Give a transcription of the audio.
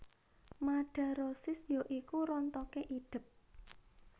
Madarosis ya iku rontoké idep